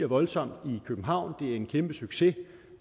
voldsomt i københavn det er en kæmpe succes